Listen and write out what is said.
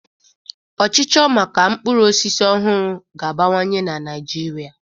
Ọchịchọ maka mkpụrụ osisi ọhụrụ ga-abawanye na ṅaịjirịa.